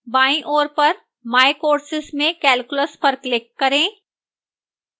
बाईं ओर पर my courses में calculus पर click करें